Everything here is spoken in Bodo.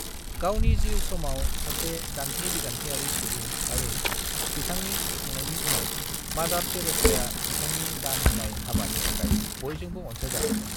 गावनि जिउ समाव सासे दान्थे-बिदान्थेआरि सुबुं आरो बिथांनि थैखांनायनि उनाव मादार टेरैसाया बिथांनि दान होनाय हाबानि थाखाय बयजोंबो अनसायजादोंमोन।